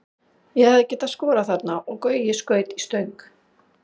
Ég hefði getað skorað þarna og Gaui skaut í stöng.